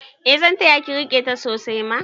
Eh zan taya ki rike ta sosai ma